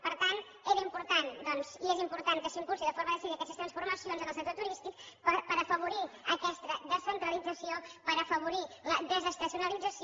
per tant era important doncs i és important que s’impulsin de forma decidida aquestes transformacions en el sector turístic per afavorir aquesta descentralització per afavorir la desestacionalització